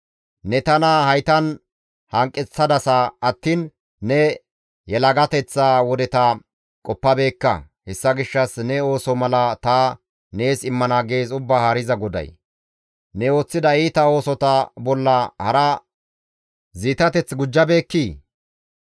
«Ne tana haytan hanqeththadasa attiin ne yelagateththa wodeta qoppabeekka; hessa gishshas ne ooso mala ta nees immana» gees Ubbaa Haariza GODAY. Ne ooththida iita oosota bolla hara ziitateth gujjabeekkii?